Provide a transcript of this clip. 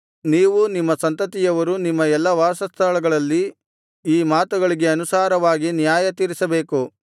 ನೀವೂ ನಿಮ್ಮ ಸಂತತಿಯವರೂ ನಿಮ್ಮ ಎಲ್ಲಾ ವಾಸಸ್ಥಳಗಳಲ್ಲಿ ಈ ಮಾತುಗಳಿಗೆ ಅನುಸಾರವಾಗಿ ನ್ಯಾಯತೀರಿಸಬೇಕು